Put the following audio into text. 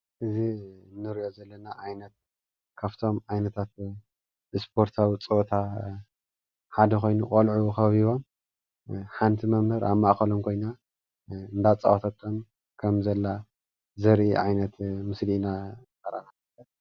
እዚ እንሪኦ ዘለና ዓይነት ካብቶም ዓይነታት ስፖርታዊ ፀወታ ሓደ ኮይኑ ቆልዑ ከቢቦም ሓንቲ መምህር ኣብ ማእከሎም ኮይና እንዳፃወተቶም ከምዘላ ዘርኢ ዓይነት ምስሊ ኢና።